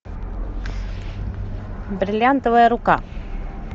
бриллиантовая рука